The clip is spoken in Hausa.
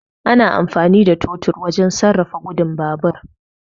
Ana amfani da totur wurin sarrafa gudun babur